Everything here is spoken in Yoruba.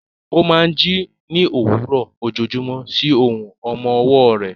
Ó máa ń jí ní òwúrọ̀ ojoojúmọ́ sí ohùn ọmọ ọwọ́ rẹ̀.